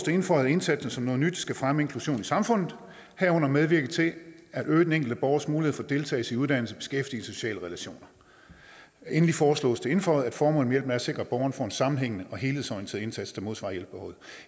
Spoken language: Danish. indføjet at indsatsen som noget nyt skal fremme inklusion i samfundet herunder medvirke til at øge den enkelte borgers mulighed for deltagelse i uddannelse beskæftigelse og sociale relationer endelig foreslås det indføjet at formålet med at sikre at borgerne får en sammenhængende og helhedsorienteret indsats der modsvarer hjælpebehovet